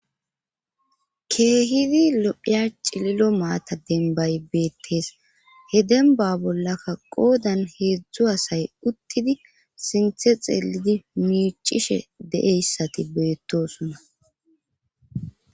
keehidi lo'iya cililo maata denbay beettees he denba bollakka qoodan heedzdzu asay uttidi sinthe xeelidi miicishe de'iyassati beettosonna